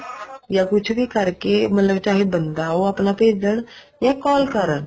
ਚਾਹੇ ਕੁੱਛ ਵੀ ਕਰਕੇ ਚਾਹੇ ਬੰਦਾ ਆਪਣਾ ਉਹ ਭੇਜਣ ਜਾਂ call ਕਰਨ